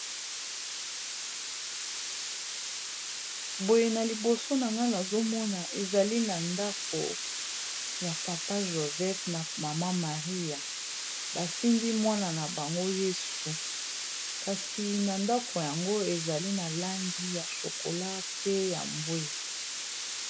boye na liboso na ngala azomona ezali na ndako ya papa joseph na mama maria basimbi mwana na bango yesu kasi na ndako yango ezali na langi ya shokola pe ya mbwe